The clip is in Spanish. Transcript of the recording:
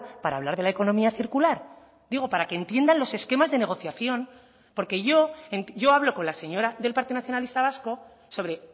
para hablar de la economía circular digo para que entiendan los esquemas de negociación porque yo yo hablo con la señora del partido nacionalista vasco sobre